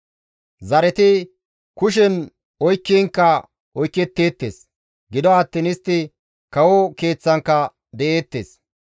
Zareti kushen oykkiinkka oyketteettes; gido attiin istti kawo keeththankka de7eettes.